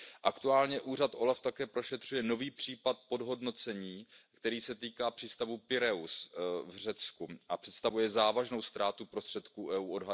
Aktuálně úřad OLAF také prošetřuje nový případ podhodnocení, který se týká přístavu Pireus v Řecku a představuje závažnou ztrátu prostředků EU.